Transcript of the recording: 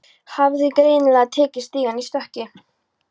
Hafði greinilega tekið stigann í stökki.